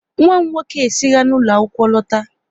Nwa m nwoke e sira ụlọ akwụkwọ lọta